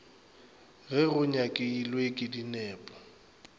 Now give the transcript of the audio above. ge go nyakilwe ke dinepo